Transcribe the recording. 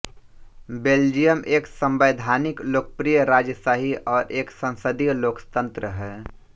Belgium एक संवैधानिक लोकप्रिय राजशाही और एक संसदीय लोकतंत्र है